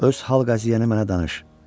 Öz hal-qəziyyəni mənə danış.